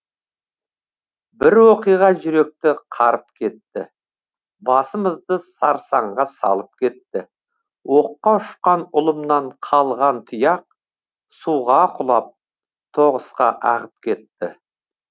бір оқиға жүректі қарып кетті басымызды сарсаңға салып кетті оққа үшқан ұлымнан қалған тұяқ суға құлап тоғысқа ағып кетті